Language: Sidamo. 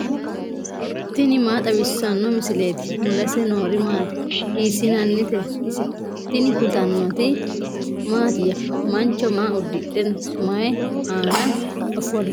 tini maa xawissanno misileeti ? mulese noori maati ? hiissinannite ise ? tini kultannori mattiya? Mancho maa udidhe mayi aanna ofollitte nootte?